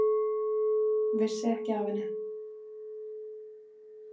Vissi ekki af henni.